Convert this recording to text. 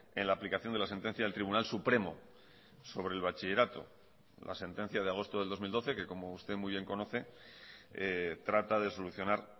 en la aplicación de la sentencia del tribunal supremo sobre el bachillerato la sentencia de agosto del dos mil doce que como usted muy bien conoce trata de solucionar